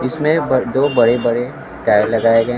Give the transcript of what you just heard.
इसमें दो बड़े बड़े टायर लगाए गए है।